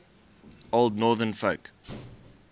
old northern folk